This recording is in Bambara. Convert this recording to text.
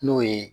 N'o ye